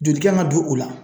Joli kan ga don o la